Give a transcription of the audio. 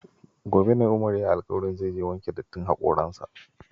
Gobe ne Umar ya yi alkawarin zai je wanke dattin hakoransa.